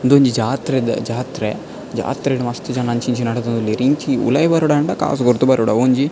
ಉಂದೊಂಜಿ ಜಾತ್ರೆದ ಜಾತ್ರೆ ಜಾತ್ರೆಡ್ ಮಸ್ತ್ ಜನ ಅಂಚಿ ಇಂಚಿ ನಡತೊಂದುಲ್ಲೆರ್ ಇಂಚಿ ಉಲಾಯಿ ಬರೊಡಾಂಡಕಾಸ್ ಕೊರ್ದು ಬರೊಡ್ ಅವೊಂಜಿ.